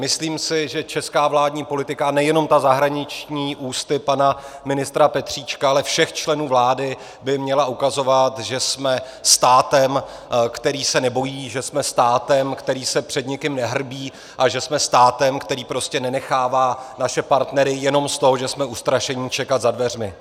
Myslím si, že česká vládní politika, a nejenom ta zahraniční ústy pana ministra Petříčka, ale všech členů vlády, by měla ukazovat, že jsme státem, který se nebojí, že jsme státem, který se před nikým nehrbí, a že jsme státem, který prostě nenechává naše partnery jenom z toho, že jsme ustrašení, čekat za dveřmi.